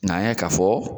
N'an y'a ye k'a fɔ